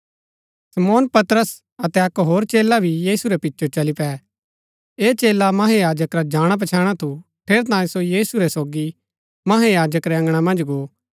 शमौन पतरस अतै अक्क होर चेला भी यीशु रै पिचो चली पै ऐह चेला महायाजक रा जाणापछैणा थू ठेरैतांये सो यीशु रै सोगी महायाजक रै अँगणा मन्ज गो